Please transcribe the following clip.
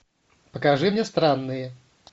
покажи мне странные